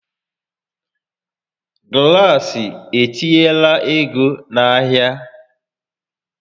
Glaasị etinyelq ego n'ahịa